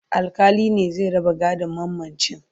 alkali ne zai raba gadon mamacin